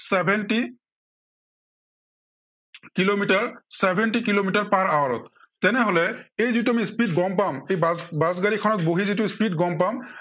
seventy kilometre seventy kilometre per hour ত। তেনেহলে এই যিটো আমি speed গম পাম, এই বাছ, বাছগাড়ীখনত বহি যিটো speed গম পাম।